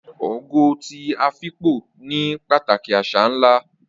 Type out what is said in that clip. Ogo ti Afikpo ní pàtàkì àṣà ńlá